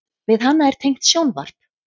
Við hana er tengt sjónvarp.